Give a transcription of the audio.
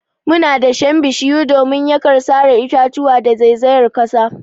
Muna dashen bishiyu domin yakar sare itatuwa da zaizayar kasa.